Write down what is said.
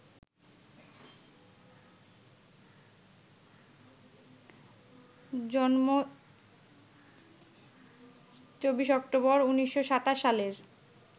জন্ম ২৪ অক্টোবর, ১৯২৭ সালের